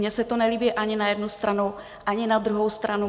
Mně se to nelíbí ani na jednu stranu, ani na druhou stranu.